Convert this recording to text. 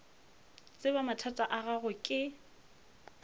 tseba mathata a gago ke